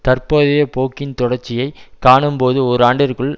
தற்போதைய போக்கின் தொடர்ச்சியைக் காணும்போது ஓராண்டிற்குள்